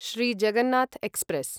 Shri Jagannath express